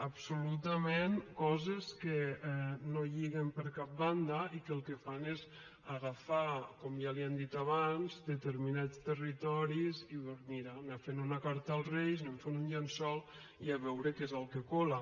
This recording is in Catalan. absolutament coses que no lliguen per cap banda i que el que fan és agafar com ja li han dit abans determinats territoris i mira anar fent una carta als reis anem fent un llençol i a veure què és el que cola